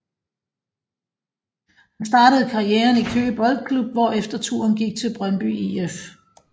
Han startede karrieren i Køge Boldklub hvorefter turen gik til Brøndby IF